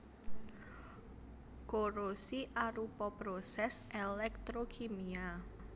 Korosi arupa prosès elektrokimia